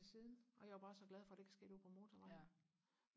siden og jeg var bare så glad for det ikke skete ude på motorvejen